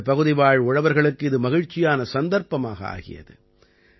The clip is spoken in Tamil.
இந்தப் பகுதிவாழ் உழவர்களுக்கு இது மகிழ்ச்சியான சந்தர்ப்பமாக ஆகியது